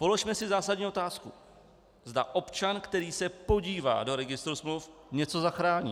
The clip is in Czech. Položme si zásadní otázku, zda občan, který se podívá do registru smluv, něco zachrání.